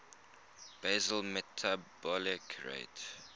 basal metabolic rate